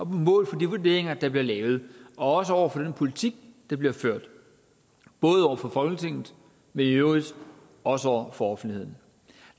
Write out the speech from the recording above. vurderinger der bliver lavet og også over for den politik der bliver ført både over for folketinget men i øvrigt også over for offentligheden